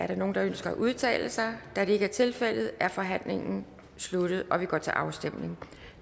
der nogen der ønsker at udtale sig da det ikke er tilfældet er forhandlingen sluttet og vi går til afstemning